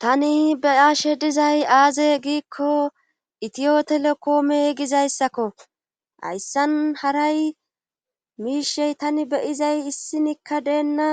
Tani beyashe dizay aaze giikko itiyotelekoome gizayssakko hayssan haray miishey tani beyizay issinikka deenna